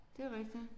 Det er rigtigt